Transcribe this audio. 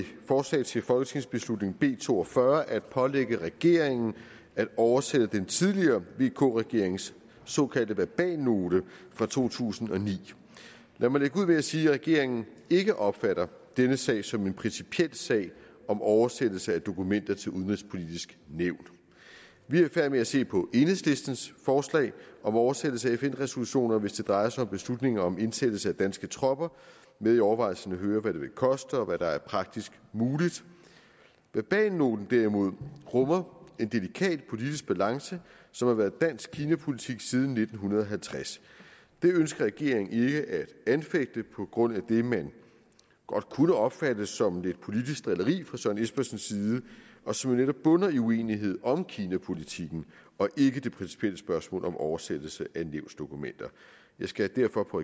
forslag til folketingsbeslutning b to og fyrre at pålægge regeringen at oversætte den tidligere vk regerings såkaldte verbalnote fra to tusind og ni lad mig lægge ud med at sige at regeringen ikke opfatter denne sag som en principiel sag om oversættelse af dokumenter til det udenrigspolitiske nævn vi er i færd med at se på enhedslistens forslag om oversættelse af fn resolutioner hvis det drejer sig om beslutninger om indsættelse af danske tropper med i overvejelserne hører hvad det vil koste og hvad der er praktisk muligt verbalnoten derimod rummer en delikat politisk balance som har været dansk kinapolitik siden nitten halvtreds den ønsker regeringen ikke at anfægte på grund af det man godt kunne opfatte som lidt politisk drilleri fra herre søren espersens side og som jo netop bunder i uenighed om kinapolitikken og ikke det principielle spørgsmål om oversættelse af nævnsdokumenter jeg skal derfor på